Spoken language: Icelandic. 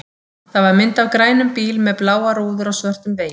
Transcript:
Það var mynd af grænum bíl með bláar rúður á svörtum vegi.